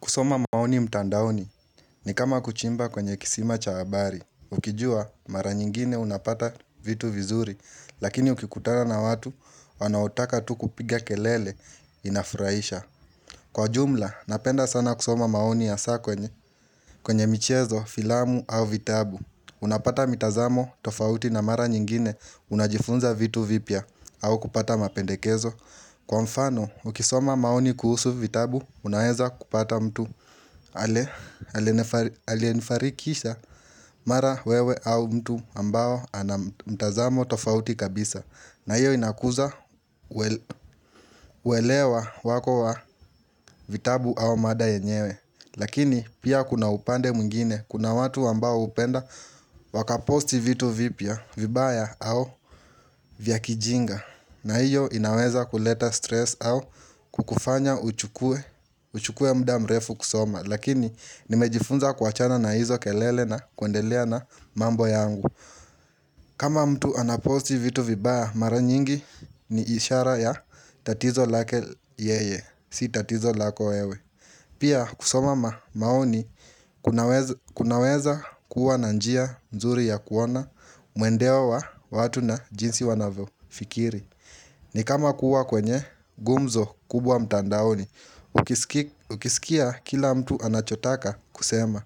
Kusoma maoni mtandaoni ni kama kuchimba kwenye kisima cha habari. Ukijua, mara nyingine unapata vitu vizuri, lakini ukikutana na watu, wanaotaka tu kupiga kelele inafuraisha. Kwa jumla, napenda sana kusoma maoni hasa kwenye kwenye michezo, filamu au vitabu. Unapata mitazamo, tofauti na mara nyingine unajifunza vitu vipya au kupata mapendekezo. Kwa mfano, ukisoma maoni kuhusu vitabu, unaeza kupata mtu. Aliyenifarikisha mara wewe au mtu ambao ana mtazamo tofauti kabisa na hiyo inakuza uelewa wako wa vitabu au mada yenyewe Lakini pia kuna upande mwingine Kuna watu ambao hupenda wakaposti vitu vipya vibaya au vya kijinga na hiyo inaweza kuleta stress au kukufanya uchukue mda mrefu kusoma Lakini nimejifunza kuachana na hizo kelele na kuendelea na mambo yangu kama mtu anaposti vitu vibaya mara nyingi ni ishara ya tatizo lake yeye Si tatizo lako wewe Pia kusoma maoni kunaweza kuwa na njia nzuri ya kuona Mwendeo wa wa watu na jinsi wanavyofikiri ni kama kuwa kwenye gumzo kubwa mtandaoni Ukisikia kila mtu anachotaka kusema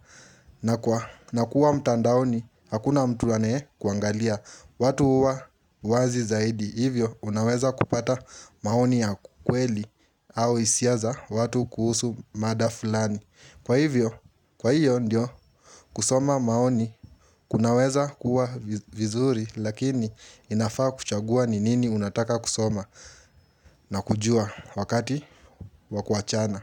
na kuwa mtandaoni, hakuna mtu anayekuangalia watu huwa wazi zaidi, hivyo unaweza kupata maoni ya kweli au hisia za watu kuhusu mada fulani Kwa hivyo, kwa hiyo ndio kusoma maoni kunaweza kuwa vizuri, lakini inafaa kuchagua ni nini unataka kusoma na kujua wakati wa kuachana.